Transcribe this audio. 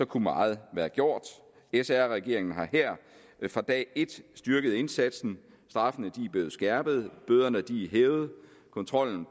kunne meget være gjort sr regeringen har fra dag et styrket indsatsen straffene er blevet skærpet bøderne er hævet og kontrollen